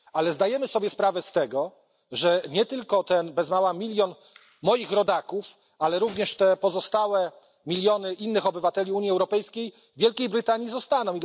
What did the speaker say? Zdajemy jednak sobie sprawę, że nie tylko ten bez mała milion moich rodaków, ale również pozostałe miliony innych obywateli Unii Europejskiej w Wielkiej Brytanii zostaną.